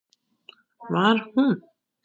Var hún?!